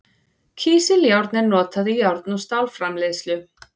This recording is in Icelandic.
Kísiljárn er notað í járn- og stálframleiðslu.